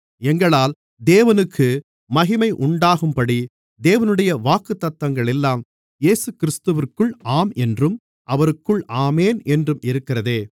எங்களால் தேவனுக்கு மகிமை உண்டாகும்படி தேவனுடைய வாக்குத்தத்தங்களெல்லாம் இயேசுகிறிஸ்துவிற்குள் ஆம் என்றும் அவருக்குள் ஆமென் என்றும் இருக்கிறதே